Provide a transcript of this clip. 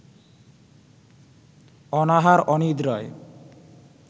অনাহার-অনিদ্রায়